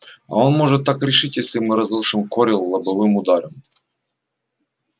а он может так решить если мы разрушим корел лобовым ударом